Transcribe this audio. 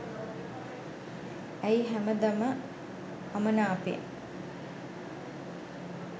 ඇයි හැමදම අමනාපෙන්